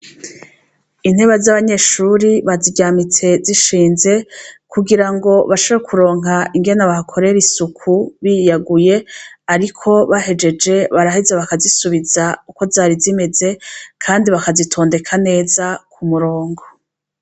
Intebe za banyeshuri baziryamitse zishinze kugirango bashobore kuronka ingene bahakorera isuku biyaguye arikobahejeje baraheza bakazisubiza uko zari zimeze kandi baka zitindeka neza ku murongo.